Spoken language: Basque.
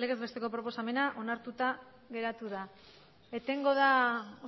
legezbesteko proposamena onartuta geratu da etengo da